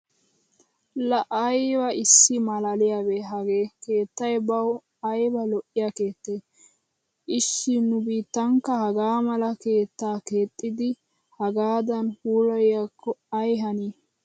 Laa ayba issi maalaaliyabee hagee keettay bawu. ayba lo'iya keettee! Ishshi nu biittankka hagaa mala keettaa keexxidi hagaadan puilayiyakko ay hanii!